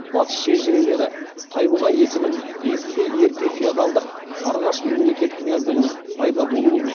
батыс шежірелері тайбұға есімін есілде ерте феодалдық сарғаш мемлекет княздігінің пайда болуымен